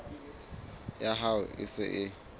ya hao e se e